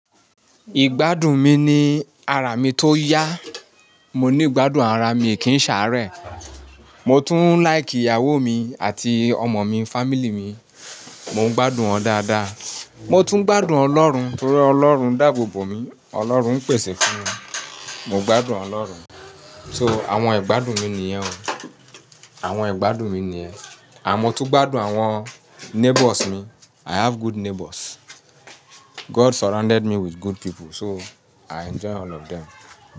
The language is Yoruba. Ìgbádùn mi ni ara mi tó yá. Mo ní gbádùn ara mi kí n ṣàárẹ̀. Mo tún ń láìkì ìyàwó mi àti ọmọ mi, family mi. Mo ń gbádùn wọn dáadáa. Mo tún gbádùn Ọlọ́run torí Ọlọ́run dá abò bò mí Ọlọ́run pèsè fún mi. Mo gbádùn Ọlọ́run. So àwọn ìgbádùn mi niyẹn o. Àwọn ìgbádùn mi ni niyẹn and mo tún gbádùn àwọn neighbours mi. I have good neighbours. God surrounded me with good people, so i enjoy all of them.